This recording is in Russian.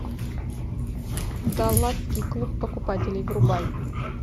далласский клуб покупателей врубай